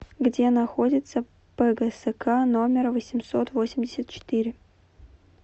где находится пгск номер восемьсот восемьдесят четыре